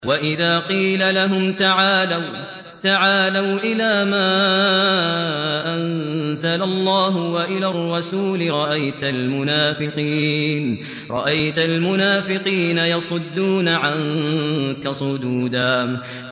وَإِذَا قِيلَ لَهُمْ تَعَالَوْا إِلَىٰ مَا أَنزَلَ اللَّهُ وَإِلَى الرَّسُولِ رَأَيْتَ الْمُنَافِقِينَ يَصُدُّونَ عَنكَ صُدُودًا